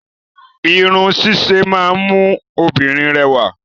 Irun ṣíṣe máa ń mú kí obìnrin rẹwà.